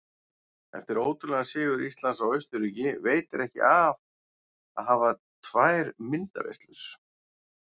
Eftir ótrúlegan sigur Íslands á Austurríki veitir ekki af að hafa tvær myndaveislur.